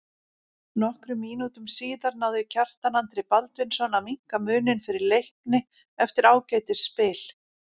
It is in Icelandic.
Nokkrum mínútum síðar náði Kjartan Andri Baldvinsson að minnka muninn fyrir Leikni eftir ágætis spil.